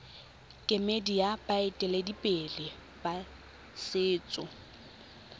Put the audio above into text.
kemedi ya baeteledipele ba setso